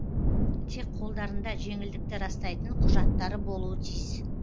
тек қолдарында жеңілдікті растайтын құжаттары болуы тиіс